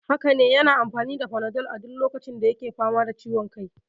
Haka ne, yana amfani da panadol a duk lokacin da yake fama da ciwon kai.